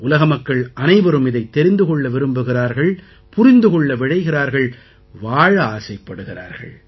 உலக மக்கள் அனைவரும் இதைத் தெரிந்து கொள்ள விரும்புகிறார்கள் புரிந்து கொள்ள விழைகிறார்கள் வாழ ஆசைப்படுகிறார்கள்